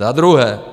Za druhé.